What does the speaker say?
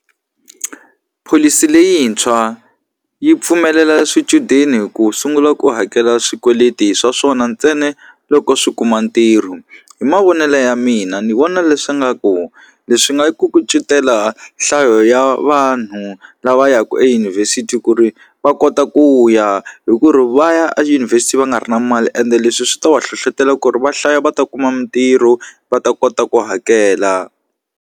Pholisi leyintshwa yi pfumelela swichudeni ku sungula ku hakela swikweleti swa swona ntsena loko swi kuma ntirho hi mavonelo ya mina ni vona leswi nga ku leswi nga yi ku kucetela nhlayo ya vanhu lava ya ku eyunivhesiti ku ri va kota ku ya hi ku ri va ya edyunivhesiti va nga ri na mali ende leswi swi ta va hlohlotela ku ri va hlaya va ta kuma mitirho va ta kota ku hakela.